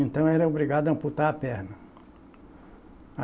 Então, eu era obrigado a amputar a perna.